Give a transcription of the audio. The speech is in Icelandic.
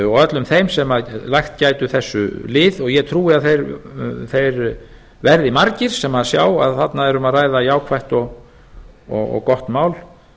og öllum þeim sem lagt gætu þessu lið og ég trúi að þeir verði margir sem sjá að þarna er um að ræða jákvætt og gott mál